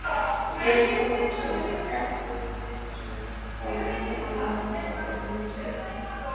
Björn Þorláksson: Gagnrýnirðu þá menntamálaráðherra fyrir mismunun?